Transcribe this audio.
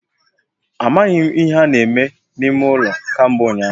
Amaghi m ihe ha na-eme n'ime ulo kambe unyahu